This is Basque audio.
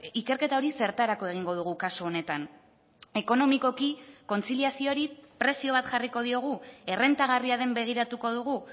ikerketa hori zertarako egingo dugu kasu honetan ekonomikoki kontziliazioari prezio bat jarriko diogu errentagarria den begiratuko dugu